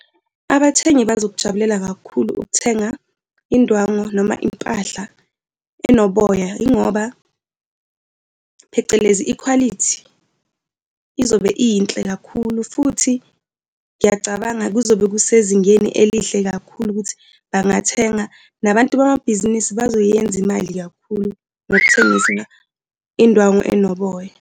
Abathengi bazokujabulela kakhulu ukuthenga indwangu noma impahla enoboya, yingoba phecelezi, ikhwalithi izobe iyinhle kakhulu futhi ngiyacabanga kuzobe kusezingeni elihle kakhulu ukuthi bangathenga. Nabantu bamabhizinisi bazoyenza imali kakhulu ngokuthengisa indwangu enoboya.